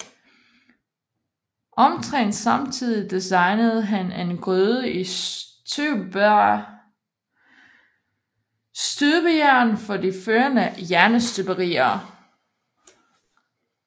Omtrent samtidig designede han en gryde i støbejern for De Forenede Jernstøberier